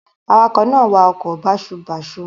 Awakọ̀ náà wa ọkọ̀ báṣubàṣu.